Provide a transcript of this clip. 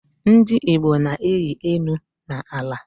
Ndi Igbo na-eyi enu na ala